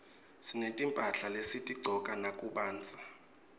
sinetimphahla lesitigcoka nakubandza